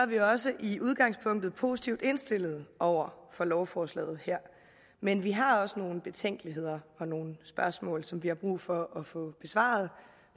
vi også i udgangspunktet positivt indstillet over for lovforslaget her men vi har også nogle betænkeligheder og nogle spørgsmål som vi har brug for at få besvaret